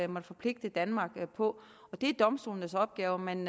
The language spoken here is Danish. måtte forpligte danmark på det er domstolenes opgave men